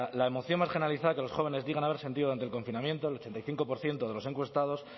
la emoción más generalizada que los jóvenes digan haber sentido durante el confinamiento el ochenta y cinco por ciento de los encuestados